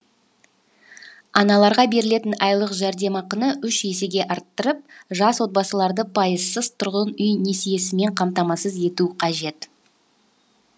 аналарға берілетін айлық жәрдемақыны үш есеге арттырып жас отбасыларды пайызсыз тұрғын үй несиесімен қамтамасыз ету қажет